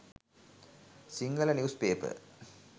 sinhala news paper